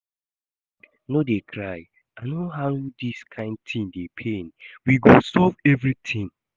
Abeg no dey cry, I know how dis kyn thing dey pain, we go solve everything